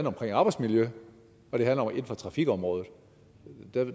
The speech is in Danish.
omkring arbejdsmiljø og trafikområdet